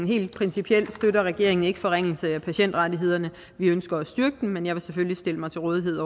helt principielt støtter regeringen ikke forringelse af patientrettighederne vi ønsker at styrke dem men jeg vil selvfølgelig stille mig til rådighed